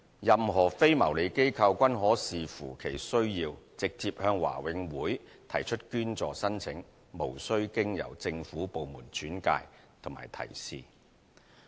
任何非牟利機構均可視乎其需要，直接向華永會提出捐助申請，無須經由政府部門轉介及提示。